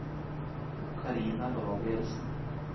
Carina Gabrielsen